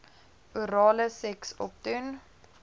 orale seks opdoen